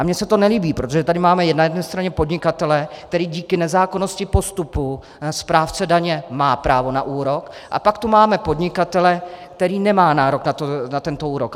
A mně se to nelíbí, protože tady máme na jedné straně podnikatele, který díky nezákonnosti postupu správce daně má právo na úrok, a pak tu máme podnikatele, který nemá nárok na tento úrok.